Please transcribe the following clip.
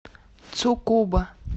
цукуба